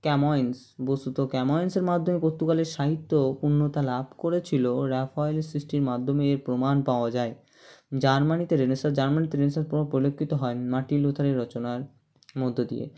Cummins বস্তুত Camoens- এর মাধ্যমে পর্তুগালের সাহিত্য পূন্যতা লাভ করেছিল রাফায়েল-এর সৃষ্টির মাধ্যমে এর প্রমাণ পাওয়া যায় জার্মানিতে Renaissance জার্মানিতে Renaissance কোনো পরিলক্ষিত হয় নি মার্টিন লুথার-এর রচনার মধ্য দিয়ে